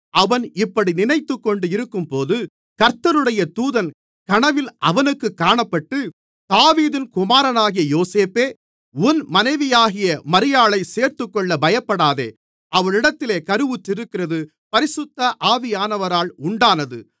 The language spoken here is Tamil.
அவன் இப்படி நினைத்துக்கொண்டு இருக்கும்போது கர்த்தருடைய தூதன் கனவில் அவனுக்குக் காணப்பட்டு தாவீதின் குமாரனாகிய யோசேப்பே உன் மனைவியாகிய மரியாளைச் சேர்த்துக்கொள்ள பயப்படாதே அவளிடத்தில் கருவுற்றிருக்கிறது பரிசுத்த ஆவியானவரால் உண்டானது